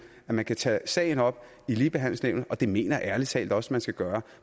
at man kan tage sagen op i ligebehandlingsnævnet og det mener jeg ærlig talt også man skal gøre